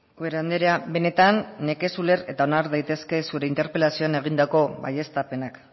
ubera andrea benetan nekez uler eta onar daitezke zure interpelazioan egindako baieztapenak